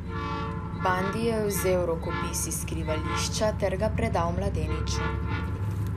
Bandi je vzel rokopis iz skrivališča ter ga predal mladeniču.